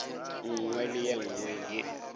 nngwe le ye nngwe ye